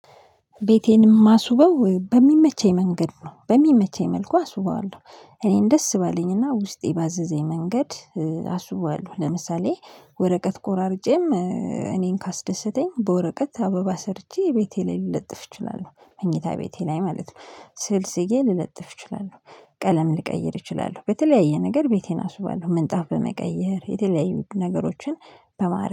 ቤቴን የማስውበው በሚመቸኝ መንገድ ነው በሚመቸኝ መልኩ አስውበዋለሁ። እኔን ደስ ባለኝና ውስጤ ባዘዘኝ መንገድ አስውበዋለሁ። ለምሳሌ ወረቀት ቆራርጬም እኔን ካስደሰተኝ በወረቀት አበባ ሰርቼ ቤቴ ላይ ልለጥፍ እችላለሁ። መኝታ ቤቴ ላይ ማለት ነው ስዕል ስዬ ልለጥፍ እችላለሁ። ቀለም ልቀይር እችላለሁ በተለያየ ነገር ቤቴን አስውባለሁ ምንጣፍ በመቀየር የተለያዩ ነገሮችን በማረግ